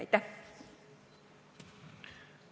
Aitäh!